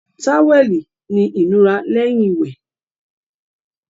Táwẹ́ẹ̀lì ni ìnura lẹ́yìn wẹ̀